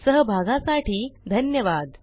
सहभागासाठी धन्यवाद